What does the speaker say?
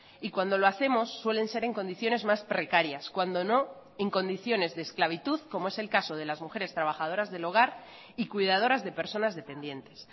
y cuando lo hacemos suelen ser en condiciones más precarias cuando no en condiciones de esclavitud como es el caso de las mujeres trabajadoras del hogar y cuidadoras de personas dependientes